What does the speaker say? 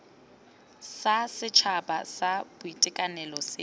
sa setšhaba sa boitekanelo se